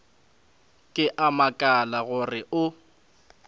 ke a makala gore o